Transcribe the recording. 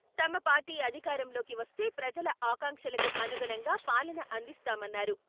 తమ పార్టీ అధికారంలోకి వస్తే ప్రజల ఆకాంక్షలకు అనుగుణంగా పాలన అందిస్తామన్నారు.